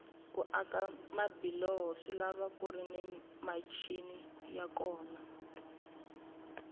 ku aka mabiloho swilava kuri ni michini ya kona